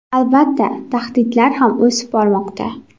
Albatta, tahdidlar ham o‘sib bormoqda.